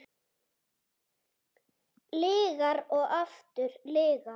Lygar og aftur lygar.